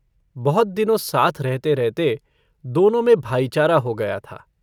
बहुत दिनों साथ रहते-रहते दोनों में भाईचारा हो गया था।